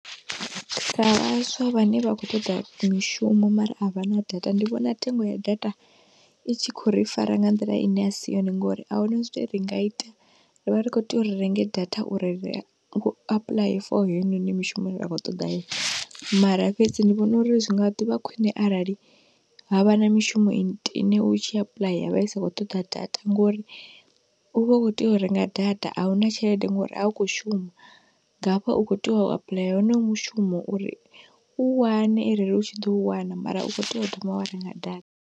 Sa vhaswa vhane vha khou toḓa mishumo mara a vha na data ndi vhona thengo ya data i tshi khou ri fara nga nḓila ine a si yone ngori ahuna zwine ra nga ita, ri vha ri khou tea uri renge data uri ri u apuḽaye for heinoni mishumoni ine ra khou ṱoḓa yone, mara fhedzi ndi vhona uri zwi nga ḓivha khwine arali havha na mishumo ine u tshi apuḽa ya vha i sa khou ṱoḓa data ngori u vha u khou tea u renga data, auna tshelede ngori a u khou shuma, ngaafha u kho tea u apuḽaya honoyo mushumo uri u wane arali u tshi ḓou wana, mara u khou tea u thoma wa renga data.